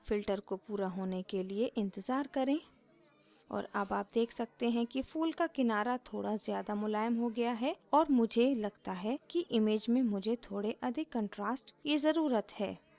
filter को पूरा होने के लिए इंतज़ार करें और अब आप देख सकते हैं कि फूल का किनारा थोड़ा ज़्यादा मुलायम हो गया है और मुझे लगता है कि image में मुझे थोड़े अधिक contrast की ज़रुरत है